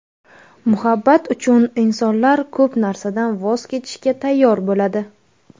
Muhabbat uchun insonlar ko‘p narsadan voz kechishga tayyor bo‘ladi.